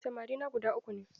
Samarina guda uku ne.